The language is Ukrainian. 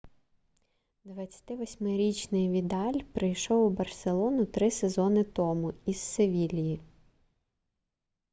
28-річний відаль прийшов у барселону три сезону тому із севільї